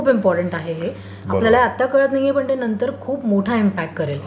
Correct. खूप खूप important आहे हे. आपल्याला आता कळत नाहीये पण नंतर ते खूप मोठा इमपाक्ट करेल.